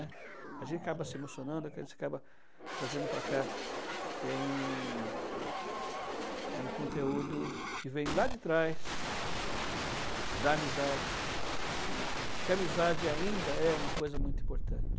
A gente acaba se emocionando, acaba trazendo para cá, eh, um um conteúdo que vem lá de trás da amizade, né, que a amizade ainda é uma coisa muito importante.